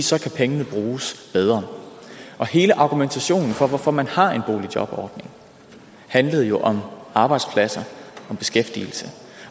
så kan pengene bruges bedre hele argumentationen for hvorfor man har en boligjobordning handlede jo om arbejdspladser